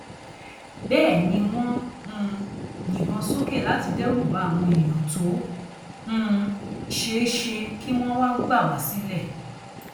bẹẹ ni wọn ń um yìnbọn sókè láti dẹrù bá àwọn èèyàn tó um ṣeé ṣe kí wọn wáá gbà wá sílé